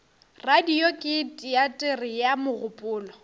radio ke teatere ya mogopolo